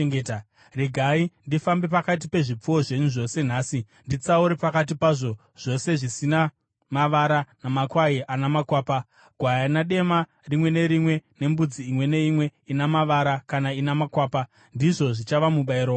Regai ndifambe pakati pezvipfuwo zvenyu zvose nhasi nditsaure pakati pazvo zvose zvina mavara namakwai ana makwapa, gwayana dema rimwe nerimwe nembudzi imwe neimwe ina mavara kana ina makwapa. Ndizvo zvichava mubayiro wangu.